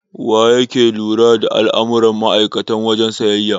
Waye yake lura da al'amuran ma'aikatan wajen siyayya?